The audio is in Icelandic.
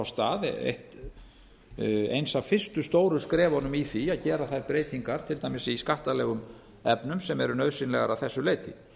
stað eins af fyrstu stóru skrefunum í því að gera þær breytingar til dæmis í skattalegum efnum sem eru nauðsynlegar að þessu leyti